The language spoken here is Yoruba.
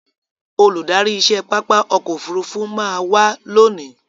Olùdárí iṣẹ́ pápá ọkò òfurufú má a wá lónìí.